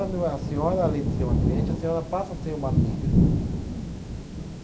A senhora, além de ser uma cliente, a senhora passa a ser uma amiga.